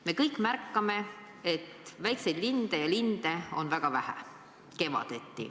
Me kõik märkame, et väikseid linde ja üldse linde on kevaditi väga vähe.